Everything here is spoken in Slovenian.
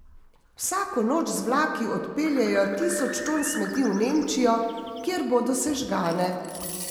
Vsako noč z vlaki odpeljejo tisoč ton smeti v Nemčijo, kjer bodo sežgane.